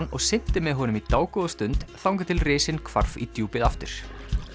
og synti með honum í þangað til risinn hvarf í djúpið aftur